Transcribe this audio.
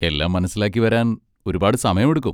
എല്ലാം മനസിലാക്കിവരാൻ ഒരുപാട് സമയമെടുക്കും.